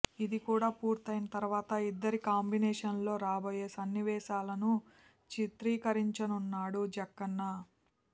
ఇది కూడా పూర్తైన తర్వాత ఇద్దరి కాంబినేషన్లో రాబోయే సన్నివేశాలను చిత్రీకరించనున్నాడు జక్కన్న